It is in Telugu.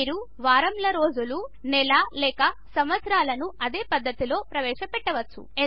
మీరు వారముల రోజులు నెల లేక సంవత్సరంలాను ఇదే పద్ధతిలో ఎంటర్ చేయవచ్చు